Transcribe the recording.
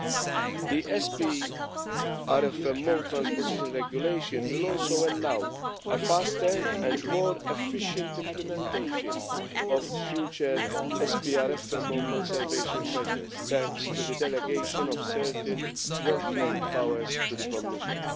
2. The SPRFMO transposition regulation will also allow a faster and more efficient implementation of future SPRFMO conservation measures, thanks to the derogation of certain well framed powers to the Commission.